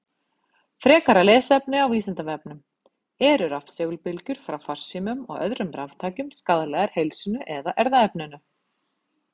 Frekara lesefni á Vísindavefnum: Eru rafsegulbylgjur frá farsímum og öðrum raftækjum skaðlegar heilsunni eða erfðaefninu?